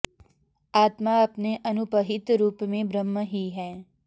आत्मा अपने अनुपहित रूप में ब्रह्म ही है